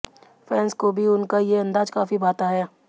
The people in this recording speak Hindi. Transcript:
फैन्स को भी उनका ये अंदाज काफी भाता है